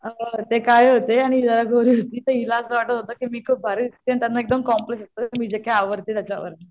अ ते काळे होते आणि ही जरा गोरी होती तर हिला असं वाटत होत की मी खूप भारी दिसतें त्यांना एकदम कॉम्पल म्हणजे की मी आवरते त्याच्यावरून.